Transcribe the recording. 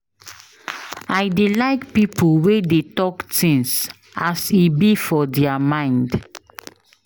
I dey like pipo wey dey tok tins as e be for their mind.